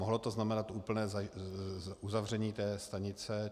Mohlo to znamenat úplné uzavření této stanice.